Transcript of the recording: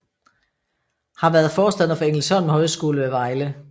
Har været forstander for Engelsholm Højskole ved Vejle